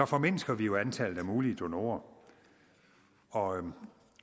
formindsker vi jo antallet af mulige donorer og